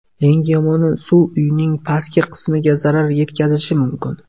Eng yomoni suv uyning pastki qismiga zarar yetkazishi mumkin.